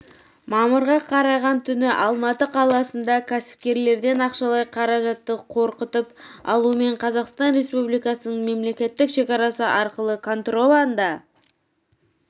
мамырға қараған түні алматы қаласында кәсіпкерлерден ақшалай қаражатты қорқытып алумен қазақстан республикасының мемлекеттік шекарасы арқылы контрабанда